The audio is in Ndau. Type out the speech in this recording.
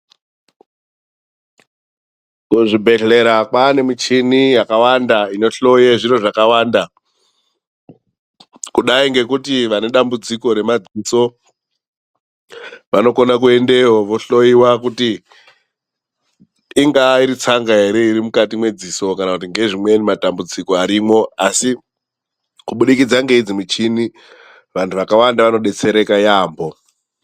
Kuzvibhedhlera kwaanemichini yakawanda inohloye zviro zvakawanda. Kudayi ngekuti vane dambudziko remadziso vanokona kuendeyo, vohloyiwa kuti ingaa iri tsanga here iri mukati mwedziso. Kana kuti ngezvimweni matambudziko arimo, asi kubudikidza ngeidzi muchini vantu vakawanda vanodetsereka yaambo.